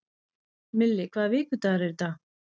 Milli, hvaða vikudagur er í dag?